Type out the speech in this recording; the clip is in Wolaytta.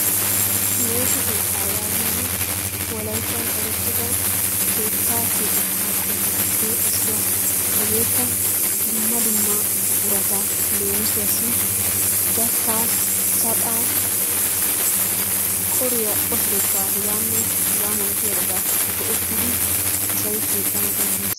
Meeshsho keettaa yagiyoogee wolaittan erettida keettaa keexxetta qomottuppe issuwa. Hegeekka dumma dumma buqqurattuppe leemisuwaassi gattaa, saxaa, qoriyaa, qosilettaa hegaanne hegaa malattiyabatta go'ettidi asay keexxana dandayees.